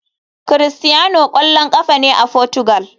Cristiano kwallon kafa ne a Portugal.